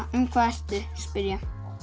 um hvað ertu spyr ég